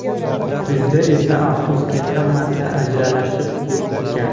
Bizda esa, afsuski, hammasi aralashib ketgan.